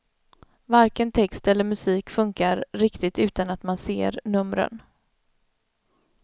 Varken text eller musik funkar riktigt utan att man ser numren.